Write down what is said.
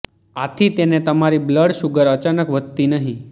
આથી તેને તમારી બ્લ્ડ શુગર અચાનક વધતી નહી